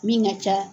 Min ka ca